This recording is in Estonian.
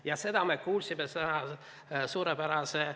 Ja seda me kuulsime suurepärase ...